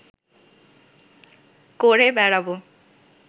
করে বেড়াব